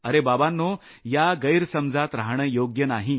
अरे बाबांनो या गैरसमजात रहाणं योग्य नाही